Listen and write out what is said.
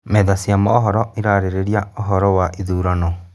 Metha cia mohoro irarĩrĩria ũhoro wa ithurano